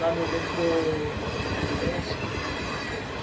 Lá no metrô... Agora eu esqueço o metrô, gente.